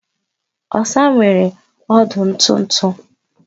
Osa nwere ọdụ ntụ ntụ